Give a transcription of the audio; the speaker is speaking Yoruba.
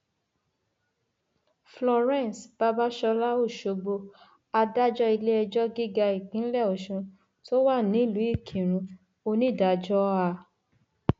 florence babàsọlá ọṣọgbó adájọ iléẹjọ gíga ìpínlẹ ọsùn tó wà nílùú ìkírun onídàájọ a